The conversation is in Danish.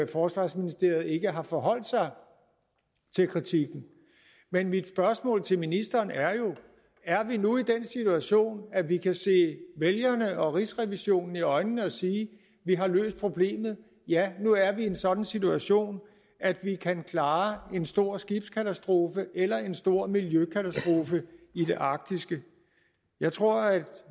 forsvarsministeriet ikke har forholdt sig til kritikken men mit spørgsmål til ministeren er jo er vi nu i den situation at vi kan se vælgerne og rigsrevisionen i øjnene og sige at vi har løst problemet ja nu er vi i en sådan situation at vi kan klare en stor skibskatastrofe eller en stor miljøkatastrofe i det arktiske jeg tror at